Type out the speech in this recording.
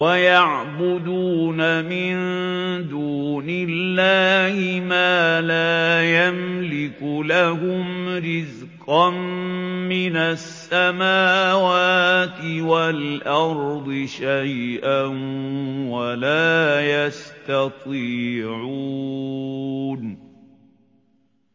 وَيَعْبُدُونَ مِن دُونِ اللَّهِ مَا لَا يَمْلِكُ لَهُمْ رِزْقًا مِّنَ السَّمَاوَاتِ وَالْأَرْضِ شَيْئًا وَلَا يَسْتَطِيعُونَ